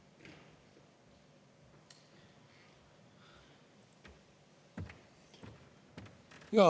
Palun!